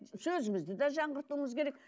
сөзімізді де жаңғыртуымыз керек